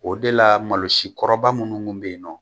O de la malosi kɔrɔba minnu kun bɛ yennɔ.